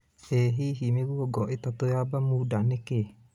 ĩ hihi mĩgũongo ĩtatu ya Bermuda nĩ kĩĩ